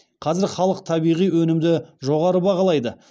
қазір халық табиғи өнімді жоғары бағалайды